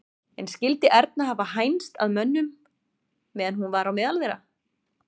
En skyldi Erna hafa hænst að mönnum meðan hún var á meðal þeirra?